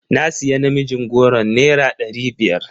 Na siya namijin goron naira ɗari biyar.